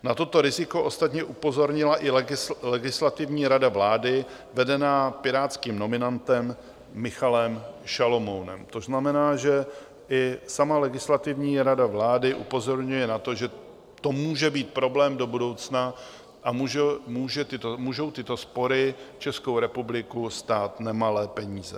Na toto riziko ostatně upozornila i Legislativní rada vlády vedená pirátským nominantem Michalem Šalomounem, což znamená, že i sama Legislativní rada vlády upozorňuje na to, že to může být problém do budoucna a můžou tyto spory Českou republiku stát nemalé peníze.